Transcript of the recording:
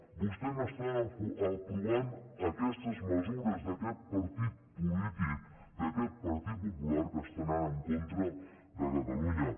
vostès estan aprovant aquestes mesures d’aquest partit polític d’aquest partit popular que està anant en contra de catalunya